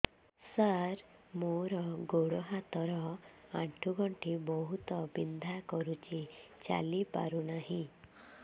ସାର ମୋର ଗୋଡ ହାତ ର ଆଣ୍ଠୁ ଗଣ୍ଠି ବହୁତ ବିନ୍ଧା କରୁଛି ଚାଲି ପାରୁନାହିଁ